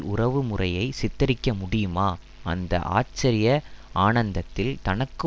உறவுமுறையை சித்தரிக்க முடியுமா அந்த ஆச்சரிய ஆனந்தத்தில் தனக்கு